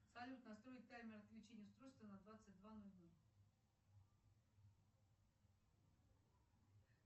салют настроить таймер отключения устройства на двадцать два ноль ноль